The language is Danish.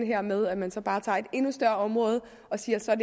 der med at man så bare tager et endnu større område og siger at så er